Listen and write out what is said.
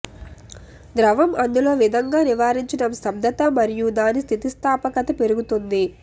ద్రవం అందులో విధంగా నివారించడం స్తబ్దత మరియు దాని స్థితిస్థాపకత పెరుగుతుంది